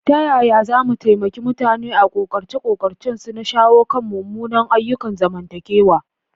Ta yaya za mu taimaki mutane a ƙoƙarce-ƙoƙarcensu na shawo kan munanan ayyukan zamantakewa?